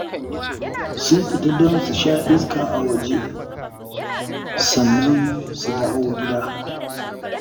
Sun fita don su sha iska a waje, sannan su dawo gida